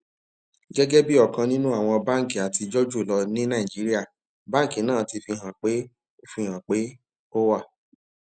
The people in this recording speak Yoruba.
gẹgẹ bi ọkan ninu awọn banki atijọ julọ ni naijiria banki naa ti fihan pe o fihan pe o wa